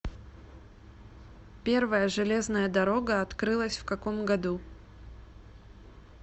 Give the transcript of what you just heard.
первая железная дорога открылась в каком году